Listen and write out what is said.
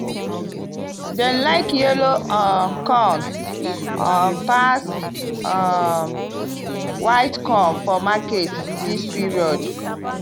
dem like yellow um corn um pass um white corn for market this period.